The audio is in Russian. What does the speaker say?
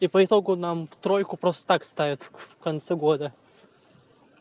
и по итогу нам тройку просто так ставят в конце года